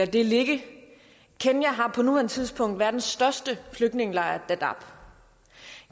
det ligge kenya har på nuværende tidspunkt verdens største flygtningelejr dadaab